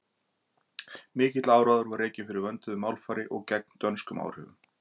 mikill áróður var rekinn fyrir vönduðu málfari og gegn dönskum áhrifum